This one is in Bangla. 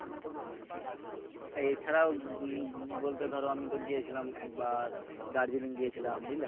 এছাড়াও বলতে ধরো আমি তো গিয়েছিলাম একবার দার্জিলিং গিয়েছিলাম বুঝলে